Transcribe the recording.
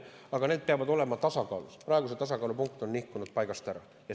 Aga need peavad olema tasakaalus, praegu on see tasakaalupunkt nihkunud paigast ära.